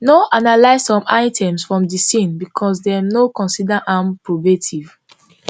no analyse some items from di scene becos dem no cnsider am probative